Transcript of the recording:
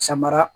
Samara